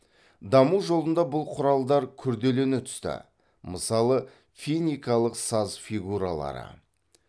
даму жолында бұл құралдар күрделене түсті мысалы финикалық саз фигуралары